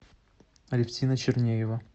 алевтина чернеева